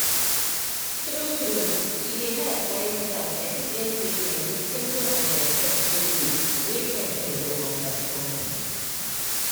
true true e dey help when staff explain treatment with simple and respectful way wey person go understand.